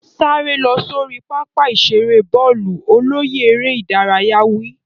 Sáré lọ sórí pápá ìṣeré bọ́ọ̀lù. Olóyè eré ìdárayá wí.